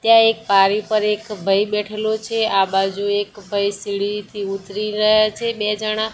ત્યાં એક પારી પર એક ભાઈ બેઠેલો છે આ બાજુ એક ભાઈ સીડીથી ઉતરી રહ્યા છે બે જણા--